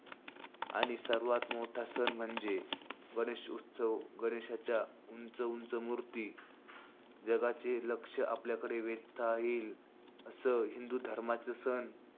आणि सर्वात मोठा सण म्हणजे गणेशोत्सव. गणेशाच्या उंच-उंच मुर्ती जगाचे लक्ष आपल्याकडे वेधता येईल असं, हिंदुधर्माचा सण,